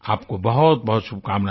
आपको बहुतबहुत शुभकामनाएँ